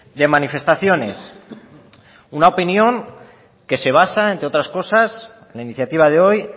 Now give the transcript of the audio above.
de manifestaciones una opinión que se basa entre otras cosas la iniciativa de hoy